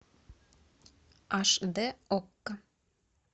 аш д окко